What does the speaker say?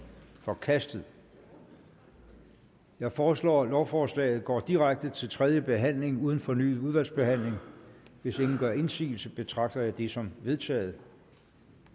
forkastet jeg foreslår at lovforslaget går direkte til tredje behandling uden fornyet udvalgsbehandling hvis ingen gør indsigelse betragter jeg det som vedtaget